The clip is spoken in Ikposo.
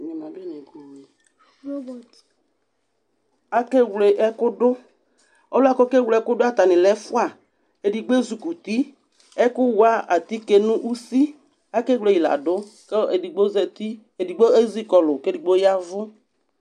Akewle ɛkʋ dʋ Ɔlʋ yɛ kʋ ɔkewle ɛkʋ dʋ yɛ atanɩ lɛ ɛfʋa Edigbo ezikuti Ɛkʋwa atike nʋ usi, akewle yɩ la dʋ kʋ edigbo zati, edigbo ezi kɔlʋ kʋ edigbo ya ɛvʋ